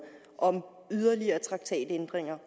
om yderligere traktatændringer